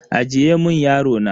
Ajiye mun yaro na.